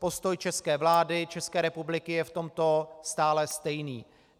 Postoj české vlády, České republiky je v tomto stále stejný.